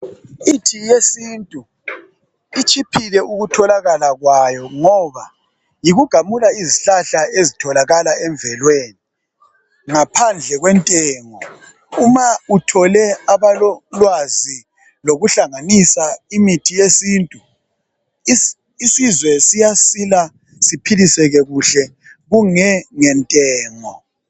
Imithi yesintu itshiphile ukutholakala kwayo ngoba yikugamula izihlahla ezitholakala emvelweni ngaphandle kwentengo uma uthole abalolwazi lokuhlanganisa imithi yesintu isizwe siyasila siphiliseke kuhle kunge ngentengo